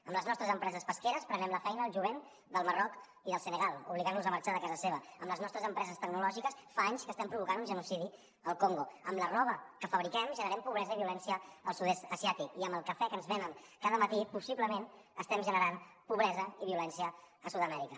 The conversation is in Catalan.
amb les nostres empreses pesqueres prenem la feina al jovent del marroc i del senegal i els obliguem a marxa de casa seva amb les nostres empreses tecnològiques fa anys que estem provocant un genocidi al congo amb la roba que fabriquem generem pobresa i violència al sud est asiàtic i amb el cafè que ens venen cada matí possiblement estem generant pobresa i violència a sud amèrica